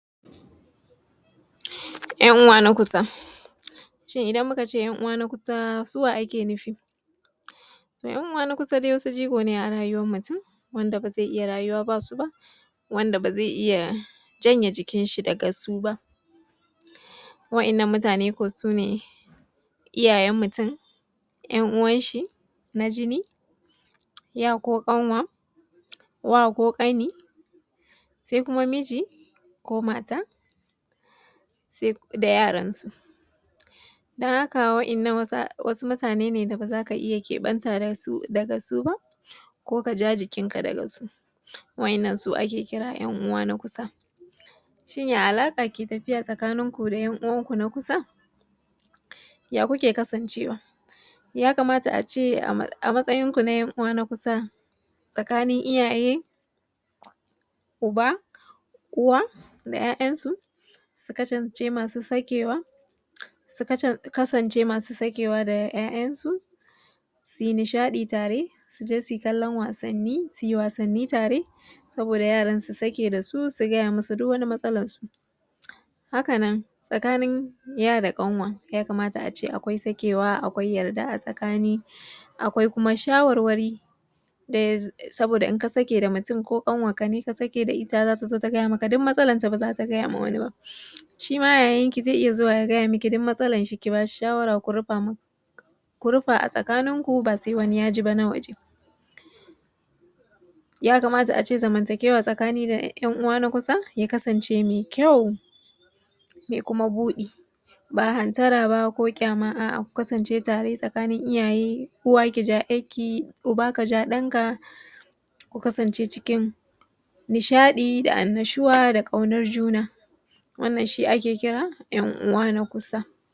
'Yan uwa na kusa, shin idan muka ce 'yan uwa na kusa su wa ake nufi? To 'yan uwa na kusa dai wasu jigo ne a rayuwar mutum wanda ba za a iya rayuwa babu su ba. Wanda ba zai iya janye jikin shi daga su ba, waɗannan mutane su ne iyayen mutum 'yan uwan shi na jini, ya ko kanwa, wa ko ƙani, sai kuma miji ko mata da yaransu. Don haka wasu mutane ne da ba za ka iya keɓanta da su ba, ko ka ja jikinka da su waɗannan su ake kira da yan uwa na kusa. Shin ya alaƙa ke tafiya tsakininku da yan uwanku na kusa? Ya kuke kasancewa ya kamata a ce a matsayinku na yan'uwa na kusa tsakanin iyaye, uba, uwa da 'ya'yansu su kasance masu sakewa da ya'yansu su yi nishadi tare. Ku je su yi kallon wasanni tare saboda yara su sake da su, su faɗa musu duk matsalarsu. Haka nan tsakanin ya da ƙanwa ya kamata akwai sakewa akwai ƙauna akwai kuma shawararwari saboda in ka sake da mutum ko kanwanka in ka sake da ita za ta gaya maka duk matsalarka ba za ta gaya ma wani ba, kuma yayanku zai iya zuwa ya faɗa miki duk matsalar shi ki ba shi shawara ku rufa a tsakaninku ba sai wani ya ji ba na waje. Ya kamata a ce zamantakewa da yan'uwa na kusa ya kasance mai ƙyau da kuma buɗi, ba hantara ba ko ƙyama. A'a ku Kasance da Iyaye uwa ki ja 'yanki, uba ka ja ɗanka ku kasance cikin nishaɗi da annashuwa da kaunar juna. Wannan shi ake kira 'yan'uwa na kusa.